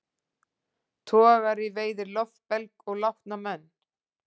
Togari veiðir loftbelg og látna menn